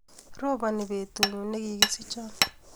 Roboni betutnyu nekikisichion